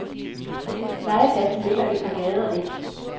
Legepladsen ligger et par gader væk.